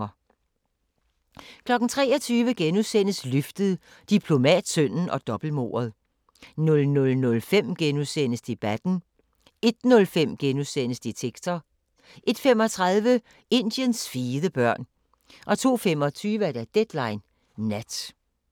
23:00: Løftet – Diplomatsønnen og dobbeltmordet * 00:05: Debatten * 01:05: Detektor * 01:35: Indiens fede børn 02:25: Deadline Nat